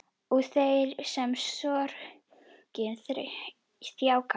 Og þeirra sem sorgin þjakar.